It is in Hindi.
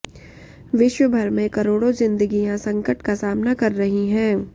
विश्व भर में करोड़ों जिंदगियां संकट का सामना कर रहीं हैं